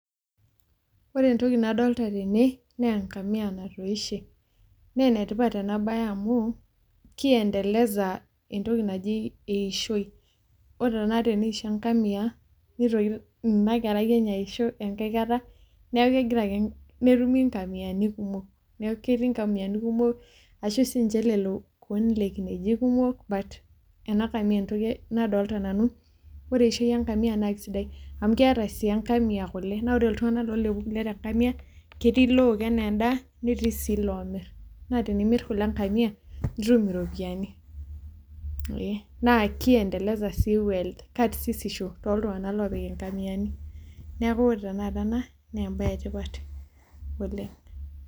Ore entoki nadolta tene nee eng'amia natoishe, nee ene tipat ena baye amu kiendeleza entoki naji eishoi. Ore tenakata teneisho eng'amia nitoki ina kerai enye aisho enkae kata, neeku kegirake netumi ng'amiani kumok, neeku ketii ng'amiani kumok ashu siinje lelo kuon le kinejik kumok but ena kamia entoki nadolta nanu. Ore esiai enng'amia naake sidai amu keeta sii eng'amia kule naa ore iltung'anak loolepu kule te ng'amia ketii look enee ndaa, netii sii iloomir naa tenimir kule eng'amia nitumi iropiani ee naa kiendeleza sii wealth karsisisho too iltung'anak loopik ing'amiani. Neeku ore tenakata ena nee embaye e tipat oleng'.